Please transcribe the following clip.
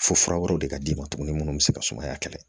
Fo fura wɛrɛw de ka d'i ma tuguni minnu bɛ se ka sumaya kɛlɛ